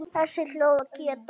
Þessi hljóð geta